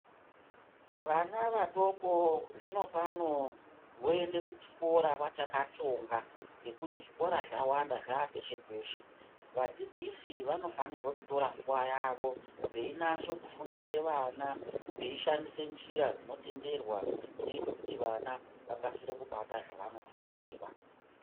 Vana vadoko zvinopano voende kuchikora vachaka tsonga ngekuti zvikora zvawanda zvapeshe-peshe. Vadzidzisi vano fanirwe kutora nguwa yawo veinase kufundisa vana veiishandisa njira dzino tenderwa dzinoite kuti vana vakasire kubata zvavano fundiswa.